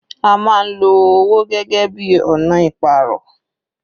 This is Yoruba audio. A máa ń lo owó gẹ́gẹ́ bíi ọ̀nà ìpàrọ̀.